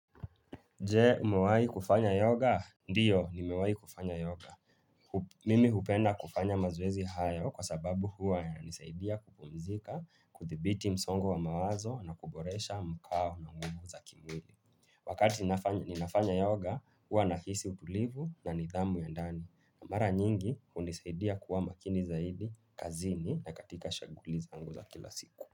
Je, umewai kufanya yoga? Ndio, nimewai kufanya yoga. Mimi hupenda kufanya mazoezi hayo kwa sababu huwa yananisaidia kupumzika, kuthibiti msongo wa mawazo na kuboresha mkao na nguvu za kimwili. Wakati ninafanya yoga, huwa na hisi utulivu na nidhamu ya ndani. Mara nyingi, unisaidia kuwa makini zaidi, kazini na katika shuguli zangu za kila siku.